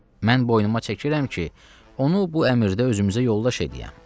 Mən boynuma çəkirəm ki, onu bu əmrdə özümüzə yoldaş eləyəm.